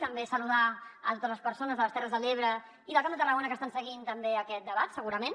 també saludar totes les persones de les terres de l’ebre i del camp de tarragona que estan seguint també aquest debat segurament